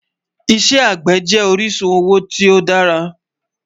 Ìṣẹ̀ agbẹ́ jẹ orisun owo ti o dàrà